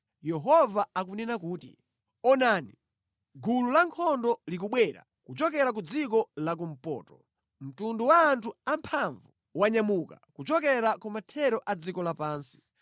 Yehova akunena kuti, “Taonani, gulu lankhondo likubwera kuchokera kumpoto; mtundu wa anthu amphamvu wanyamuka kuchokera kumathero a dziko lapansi.